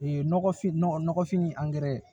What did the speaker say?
Ee nɔgɔfin nɔgɔfin ni